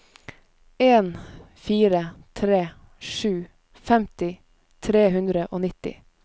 en fire tre sju femti tre hundre og nitti